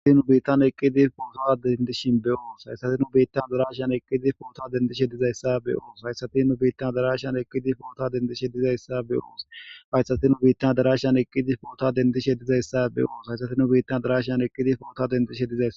Haysatinu biittan adarashan eqqidi poota dendishin diyaysa be'os.